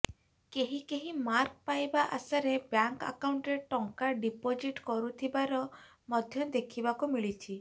କେହି କେହି ମାର୍କ ପାଇବା ଆଶାରେ ବ୍ୟାଙ୍କ୍ ଆକାଉଣ୍ଟରେ ଟଙ୍କା ଡିପୋଜିଟ୍ କରୁଥିବାର ମଧ୍ୟ ଦେଖିବାକୁ ମିଳିଛି